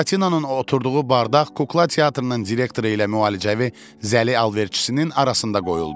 Buratinonun oturduğu bardaq kukla teatrının direktoru ilə müalicəvi zəli alış-verişinin arasında qoyuldu.